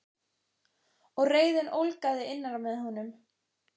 Og reiðin ólgaði innra með honum.